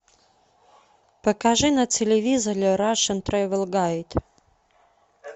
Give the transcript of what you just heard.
покажи на телевизоре рашн тревел гайд